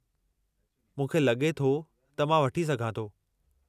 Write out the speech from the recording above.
मूंखे लॻे थो त मां वठी सघां थो।